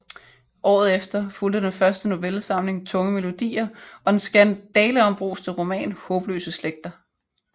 Året efter fulgte den første novellesamling Tunge melodier og den skandaleombruste roman Haabløse Slægter